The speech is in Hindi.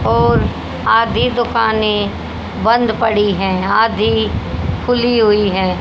और आधी दुकानें बंद पड़ी हैं आधी खुली हुई हैं।